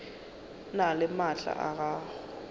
na le maatla a go